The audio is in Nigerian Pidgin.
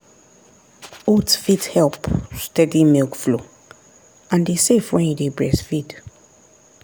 oats fit help steady milk flow and e safe when you dey breastfeed.